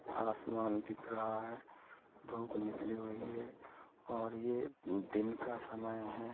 आसमान दिख रहा हैं धूप निकली हुई हैं और ये दिन का समय हैं।